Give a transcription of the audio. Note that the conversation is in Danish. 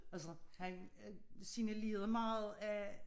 Altså han øh signalerede meget at